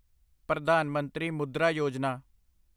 Pradhan Mantri Mudra Yojana